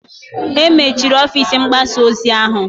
E mechiri ọfịs mgbasa ozi ahụ